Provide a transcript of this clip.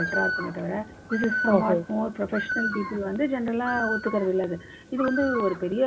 better ரா இருக்குமே தவிற this is so much more professional people வந்து general ஒத்துக்கறதில்லை. இது வந்து ஒரு பெரிய